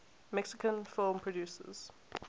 mexican film producers